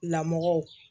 Lamɔ